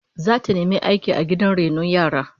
Zata nemi aiki da gidan rainon yaran